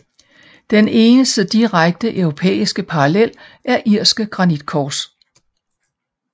Den eneste direkte europæiske parallel er irske granitkors